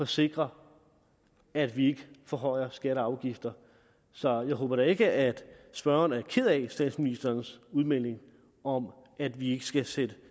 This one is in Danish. sikre at vi ikke forhøjer skatter og afgifter så jeg håber da ikke at spørgeren er ked af statsministerens udmelding om at vi ikke skal sætte